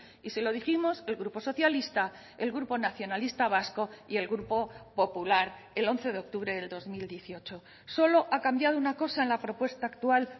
y se lo dijimos el grupo socialista el grupo nacionalista vasco y el grupo popular el once de octubre del dos mil dieciocho solo ha cambiado una cosa en la propuesta actual